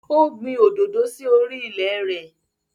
O gbin òdòdó sí orí i ilẹ̀ rẹ̀